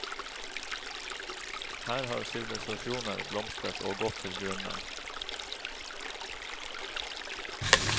Her har sivilisasjoner blomstret og gått til grunne.